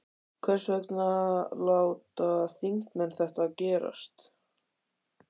Hvers vegna láta þingmenn þetta gerast?